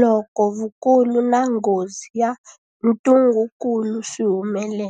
loko vukulu na nghozi ya ntungukulu swi humelela.